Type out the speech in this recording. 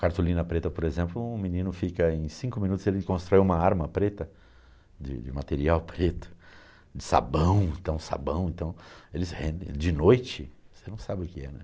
Cartolina preta, por exemplo, um menino fica em cinco minutos, ele constrói uma arma preta, de de material preto, de sabão, então sabão, então, eles rendem. De noite, você não sabe o que é, né?